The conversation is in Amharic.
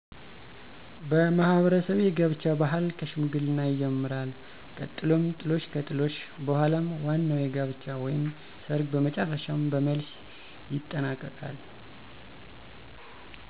በማህበረሰቤ የጋብቻ ባህል ከሽምግልና ይጀምራል ቀጥሎም ጥሎሽ ከጥሎሽ በኃላም ዋናዉ የጋብቻ ወይም ሰርግ በመጨረሻም በመልስ ይጠናቀቃል።